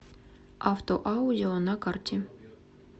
автоаудио на карте